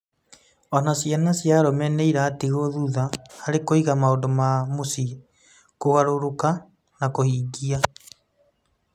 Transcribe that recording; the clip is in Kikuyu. O na ciana cia arũme nĩ iratigwo thutha harĩ kũiga maũndũ ma mũciĩ, kũgarũrũka, na kũhingia.